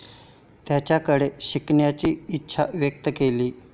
त्यांच्याकडे शिकण्याची इच्छा व्यक्त केली.